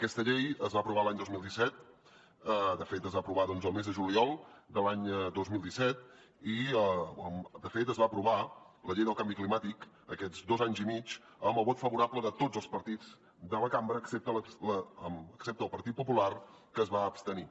aquesta llei es va aprovar l’any dos mil disset de fet es va aprovar doncs al mes de juliol de l’any dos mil disset i de fet es va aprovar la llei del canvi climàtic en aquests dos anys i mig amb el vot favorable de tots els partits de la cambra excepte el partit popular que es va abstenir